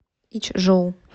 ичжоу